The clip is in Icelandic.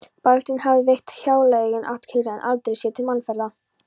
Baldvin hafði veitt hjáleigunni athygli en aldrei séð til mannaferða.